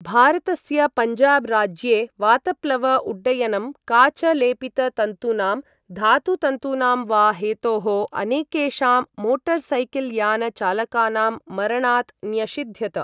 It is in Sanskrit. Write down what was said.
भारतस्य पञ्जाब् राज्ये वातप्लव उड्डयनं काच लेपित तन्तूनां धातु तन्तूनां वा हेतोः अनेकेषां मोटर्सैकिल्यान चालकानां मरणात् न्यषिध्यत।